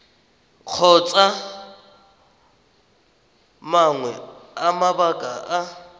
kgotsa mangwe a mabaka a